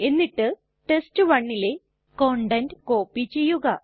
എന്നിട്ട് test1ലെ content copy ചെയ്യുക